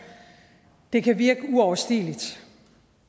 det kan virke uoverstigeligt